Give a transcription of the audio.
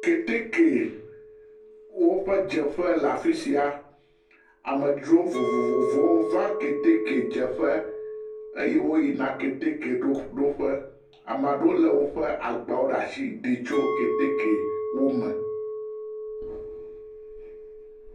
Keteke woƒe dzeƒe le afi sia, amedzro vovovovovo wova keteke dzeƒe eye woyina keteke ɖoƒe, ame aɖewo lé woƒe agbawo ɖe asi ɖi tso keteke wome.